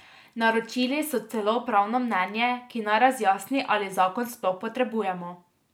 Naročili so celo pravno mnenje, ki naj razjasni, ali zakon sploh potrebujemo.